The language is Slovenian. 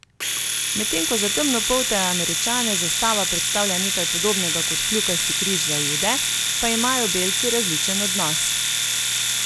Medtem ko za temnopolte Američane zastava predstavlja nekaj podobnega kot kljukasti križ za Jude, pa imajo belci različen odnos.